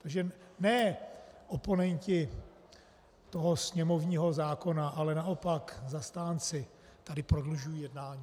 Takže ne oponenti toho sněmovního zákona, ale naopak zastánci tady prodlužují jednání.